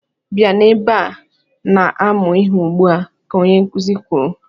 "Bịa na-ebe a na-amụ ihe ugbu a!", ka onye nkụzị kwuru.